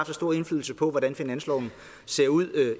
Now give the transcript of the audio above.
så stor indflydelse på hvordan finansloven ser ud